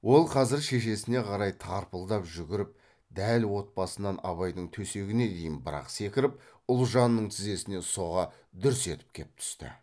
ол қазір шешесіне қарай тарпылдап жүгіріп дәл от басынан абайдың төсегіне дейін бір ақ секіріп ұлжанның тізесіне соға дүрс етіп кеп түсті